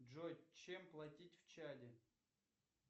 джой чем платить в чаде